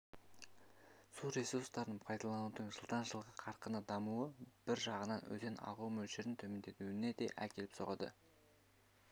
су ресурстарын пайдаланудың жылдан жылға қарқынды дамуы бір жағынан өзен ағуы мөлшерінің төмендеуіне де әкеліп соғады